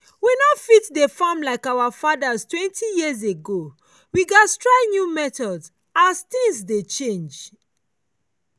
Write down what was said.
we no go fit dey farm like our fatherstwentyyears ago we gats try new methods as things dey change.